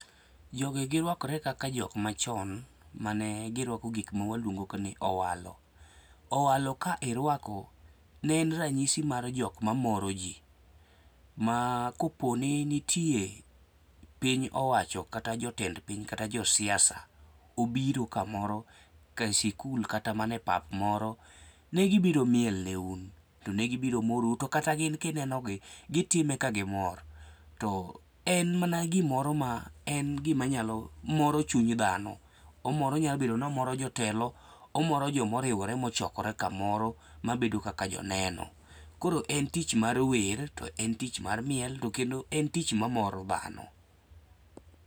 Jogi giruakore kaka jok machon mane giruako gik mawaluongo ni owalo. Owalo ka iruako, ne en ranyisi mar jok mamoro ji. Ma koponi nitie piny owacho kata jotend piny kata josiasa obiro kamoro ka sikul kata mana e pap moro negi biro miel ne un to ne gibiro morou to kata gin kagitime, to gitime ka gimor. En mana gimoro ma en gimanyalo moro chuny dhano omoro onyalo bedo ni o moro jotelo, omoro joma oriwore mochokore kamoro mabedo kaka joneno. Koro en tich mar wer to en tich mar miel to endo en tich mamoro dhano